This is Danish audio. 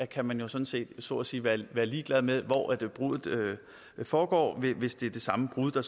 kan man jo sådan set så at sige være være ligeglad med hvor bruddet foregår hvis det er det samme brud der